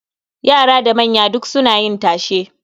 Yara da manya duk suna yin tashe.